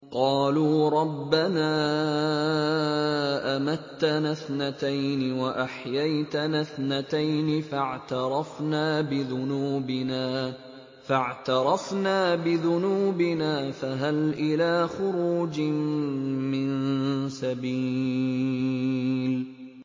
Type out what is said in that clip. قَالُوا رَبَّنَا أَمَتَّنَا اثْنَتَيْنِ وَأَحْيَيْتَنَا اثْنَتَيْنِ فَاعْتَرَفْنَا بِذُنُوبِنَا فَهَلْ إِلَىٰ خُرُوجٍ مِّن سَبِيلٍ